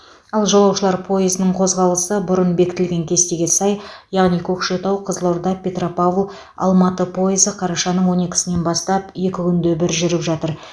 ал жолаушылар пойызының қозғалысы бұрын бекітілген кестеге сай яғни көкшетау қызылорда петропавл алматы пойызы қарашаның он екісінен бастап екі күнде бір жүріп жатыр